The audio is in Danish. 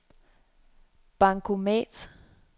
bankomat